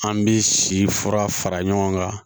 An bɛ si fura fara ɲɔgɔn kan